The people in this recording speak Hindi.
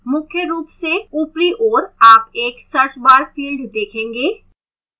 मुख्य रूप से ऊपरी ओर आप एक search bar field देखेंगे